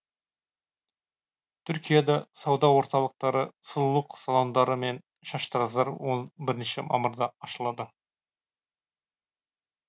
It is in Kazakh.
түркияда сауда орталықтары сұлулық салондары мен шаштараздар он бірінші мамырда ашылады